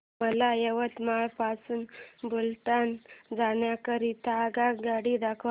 मला यवतमाळ पासून बुलढाणा जाण्या करीता आगगाड्या दाखवा